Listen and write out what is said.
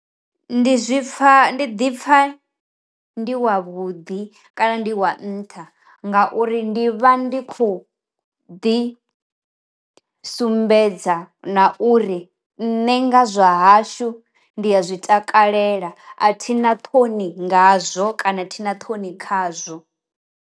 Ndi zwipfa ndi ḓi pfa ndi wa vhuḓi kana ndi wa nṱha, ngauri ndi vha ndi khou ḓi sumbedza na uri nṋe nga zwa hashu ndi a zwi takalela a thina ṱhoni ngazwo kana thina ṱhoni khazwo.